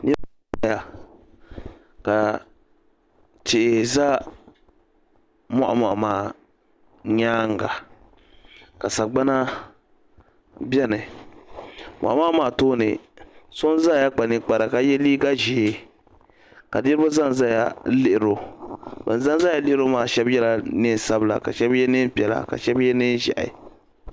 Niribi n zaya ka tihi za moɣumoɣu maa nyaaŋa ka sagbana bɛni moɣumoɣu maa tooni so n zaya kpa ninkpara ka ye liiga ʒee ka niribi zanzaya n lihiri o ban zanzaya lihiri o maa shɛb yela liiga sabila ka shɛb ye nɛɛn piɛla ka shɛb ye nɛɛn ʒehi.